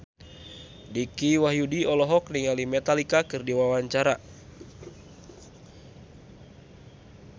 Dicky Wahyudi olohok ningali Metallica keur diwawancara